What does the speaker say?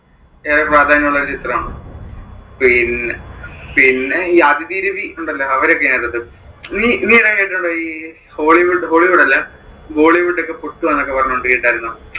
ഏറെ പ്രാധാന്യം ഉള്ള ഒരു ചിത്രം ആണ്. പിന്നെ, പിന്നെ ഈ അദിതി രവി ഉണ്ടല്ലോ അവരൊക്കെ ആണ്. നീനീ ഇത് കേട്ടിട്ടുണ്ടോ ഈ hollywood അഹ് hollywood അല്ല bollywood ഒക്കെ പൊട്ടുവാണെന്ന് പറഞ്ഞുകൊണ്ട് കേട്ടാരുന്നോ?